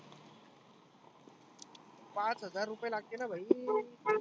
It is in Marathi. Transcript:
पाच हजार रुपए लागते ना भाई.